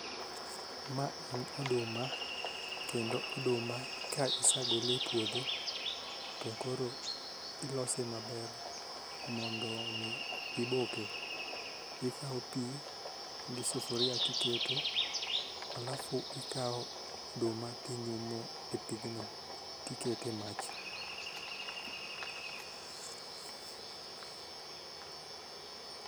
Ma en oduma kendo oduma ka isegole e puodho to koro ilose maber mondo mi iboke ,ikawo pi gi sufuria tiketo alafu tikawo oduma tinyumo e pigno tiketo e mach